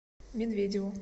медведеву